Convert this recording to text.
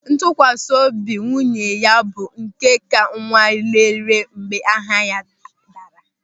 Ntụkwasị obi nwunye ya bụ nke ka anwalere mgbe ahịa ya daara.